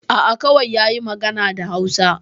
A'a, kawai yayi magana da Hausa.